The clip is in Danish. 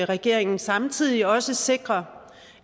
regeringen samtidig også sikrer